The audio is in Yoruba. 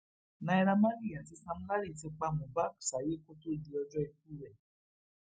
naira marley àti sam larry ti pa mohbak sáyé kó tóó di ọjọ ikú ẹ